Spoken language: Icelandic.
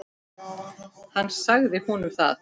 Hann sagði honum það.